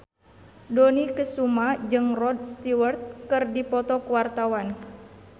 Dony Kesuma jeung Rod Stewart keur dipoto ku wartawan